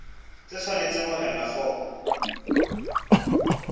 tse tshwanetseng ho elwa hloko